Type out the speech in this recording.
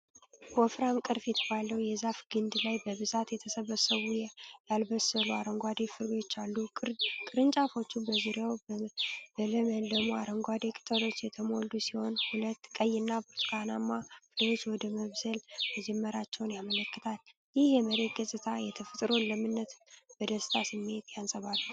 ወፍራም ቅርፊት ባለው የዛፍ ግንድ ላይ በብዛት የተሰበሰቡ ያልበሰሉ አረንጓዴ ፍሬዎች አሉ። ቅርንጫፎቹ በዙሪያው በለመለሙ አረንጓዴ ቅጠሎች የተሞሉ ሲሆኑ፣ ሁለት ቀይና ብርቱካናማ ፍሬዎች ወደ መብሰል መጀመራቸውን ያመለክታሉ። ይህ የመሬት ገጽታ የተፈጥሮን ለምነት በደስታ ስሜት ያንጸባርቃል።